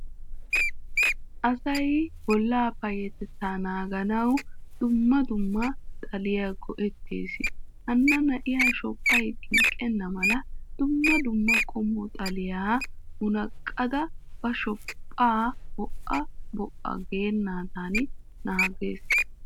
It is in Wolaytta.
Asay bolla payatetta naaganawu dumma dumma xaliya goetees. Hana na"iyaa shophphay xinqqena mala dumma dumma qommo xaliya munaqqada ba shophpha bo"o bo"o geenadan naagees.